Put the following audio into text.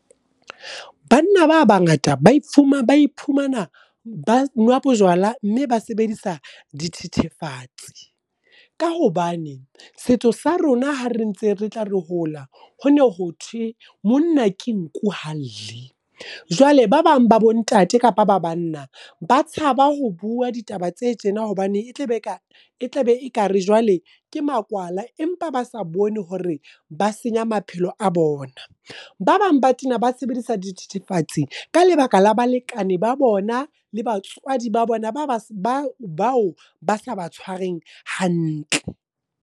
Banna ba bangata ba iphumana ba nwa bojwala, mme ba sebedisa dithethefatsi. Ka hobane, setso sa rona ha re ntse re tla re hola, hone ho thwe monna ke nku ha lle. Jwale ba bang ba bo ntate kapa ba banna, ba tshaba ho bua ditaba tse tjena hobane e tlabe e tlabe e kare jwale ke makwala. Empa ba sa bone hore ba senya maphelo a bona. Ba bang ba tena ba sebedisa di thithifatse ka lebaka la balekane ba bona, le batswadi ba bona bao ba sa batshwareng hantle.